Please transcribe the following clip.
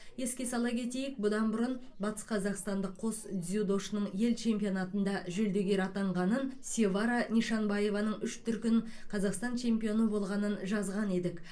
еске сала кетейік бұдан бұрын батысқазақстандық қос дзюдошының ел чемпионатында жүлдегер атанғанын севара нишанбаеваның үш дүркін қазақстан чемпионы болғанын жазған едік